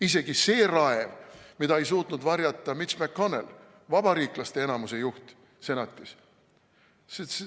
Isegi see raev, mida ei suutnud varjata Mitch McConnell, vabariiklaste enamuse juht senatis.